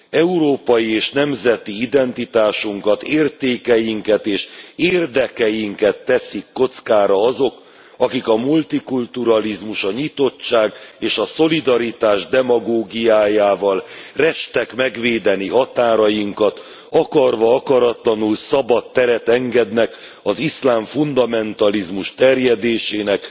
Európai és nemzeti identitásunkat értékeinket és érdekeinket teszik kockára azok, akik a multikulturalizmus, a nyitottság és a szolidaritás demagógiájával restek megvédeni határainkat, akarva akaratlanul szabad teret engednek az iszlám fundamentalizmus terjedésének